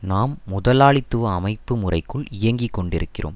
நாம் முதலாளித்துவ அமைப்பு முறைக்குள் இயங்கி கொண்டிருக்கிறோம்